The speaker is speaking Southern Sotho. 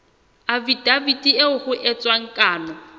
afidaviti eo ho entsweng kano